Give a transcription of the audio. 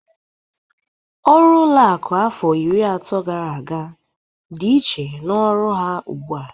Ọrụ ụlọakụ afọ iri atọ gara aga dị iche n'ọrụ ha ugbụ a.